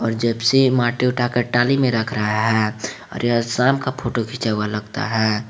और जेप्सि से माटी उठाकर ट्राली में रख रहा है और यह शाम का फोटो खींचा हुआ लगता है।